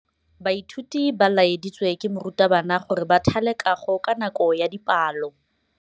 Baithuti ba laeditswe ke morutabana gore ba thale kagô ka nako ya dipalô.